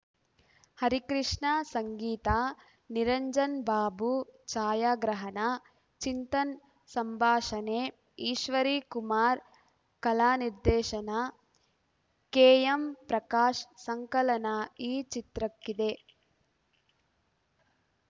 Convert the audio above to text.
ಹರಿಕೃಷ್ಣ ಸಂಗೀತ ನಿರಂಜನ್‌ ಬಾಬು ಛಾಯಾಗ್ರಹಣ ಚಿಂತನ್‌ ಸಂಭಾಷಣೆ ಈಶ್ವರಿ ಕುಮಾರ್‌ ಕಲಾ ನಿರ್ದೇಶನ ಕೆ ಎಂ ಪ್ರಾಕಾಶ್‌ ಸಂಕಲನ ಈ ಚಿತ್ರಕ್ಕಿದೆ